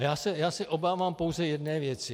A já se obávám pouze jedné věci.